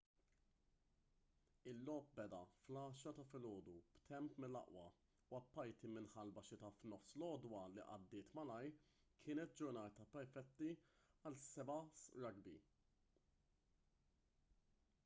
il-logħob beda fl-10:00 ta’ filgħodu b’temp mill-aqwa u apparti minn ħalba xita f’nofs l-għodwa li għaddiet malajr kienet ġurnata perfetta għal 7’s rugby